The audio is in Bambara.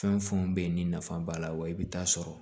Fɛn fɛn bɛ yen ni nafa b'a la wa i bɛ taa sɔrɔ